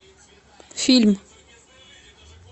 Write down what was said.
фильм